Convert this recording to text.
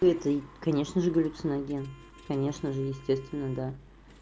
этой конечно же галлюциноген конечно же естественно да